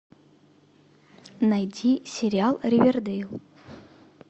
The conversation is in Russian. найди сериал ривердейл